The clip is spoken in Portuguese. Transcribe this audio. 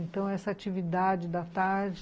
Então, essa atividade da tarde,